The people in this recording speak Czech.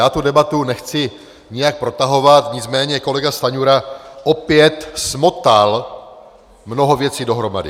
Já tu debatu nechci nijak protahovat, nicméně kolega Stanjura opět smotal mnoho věcí dohromady.